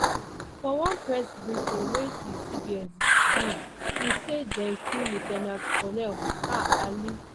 for one press briefing wey di cds give e say dem kill lieu ten ant colonel ah ali